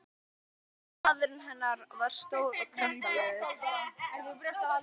Maðurinn hennar var stór og kraftalegur.